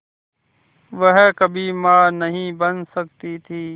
वह कभी मां नहीं बन सकती थी